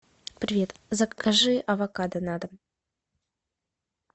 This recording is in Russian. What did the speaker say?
привет закажи авокадо на дом